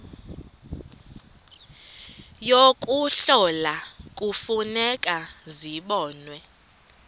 yokuhlola kufuneka zibonwe